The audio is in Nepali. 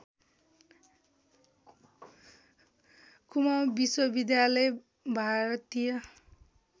कुमाउँ विश्वविद्यालय भारतीय